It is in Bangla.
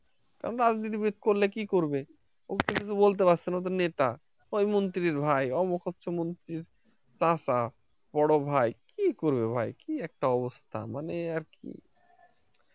রাজনীতিবিদ করলে কি করবে তাদের কিছু বলতে পারছেনা তারা নেতা মন্ত্রির ভাই অমক মন্ত্রির চাচা বড় ভাই কি করবে ভাই একটা অবস্থা মানে আর কি